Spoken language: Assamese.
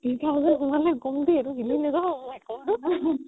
eighty-three thousand সোমালে কমতি এইটো হিলি নাযাব my god